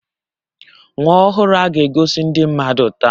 Nwa ọhụrụ a ga-egosi ndị mmadụ taa